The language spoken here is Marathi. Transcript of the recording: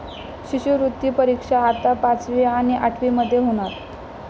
शिष्यवृत्ती परीक्षा आता पाचवी आणि आठवीमध्ये होणार!